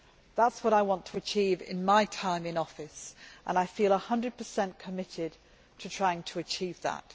That is what I want to achieve in my time in office and I feel 100 committed to trying to achieve that.